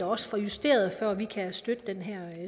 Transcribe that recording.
også justeret før vi kan støtte den her